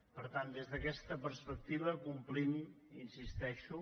per tant des d’aquesta perspectiva ho complim hi insisteixo